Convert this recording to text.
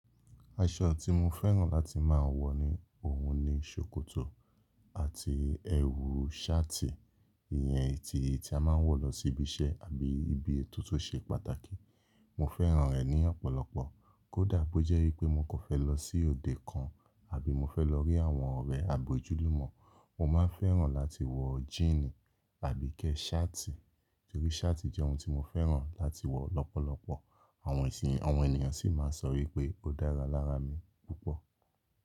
Aṣọ tí mo fẹ́ràn láti máa wọ̀ ohun ni ṣòkòtò àti ẹwù ṣáàtì. Ìyẹn eyi tí, tí a máa ń wọ̀ lọ sí ibi iṣẹ́ àbí ibi ètò tó ṣe pàtàkì. Mo fẹ́ràn ẹ ní ọ̀pọ̀lọpọ̀. Kódà bó jẹ́ wípé mo kan fẹ́ lọ sí òde kan àbí mo fẹ́ lọ rí àwọn ọ̀rẹ́ àbi ójúlúmọ́, mo máa ń fẹ́ràn láti wọ̀ jíínì àbí kẹ ṣáàtì. Torí ṣáàtì jẹ́ ohun tí mo fẹ́ràn láti wọ̀ lọ́pọ̀lọpọ̀. Àwọn ẹ̀nìyàn sì máa ń sọ wípé ó dára lára mi púpọ̀.